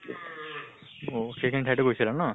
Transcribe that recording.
অহ সেই খিনি ঠাইটো গৈছিলা ন?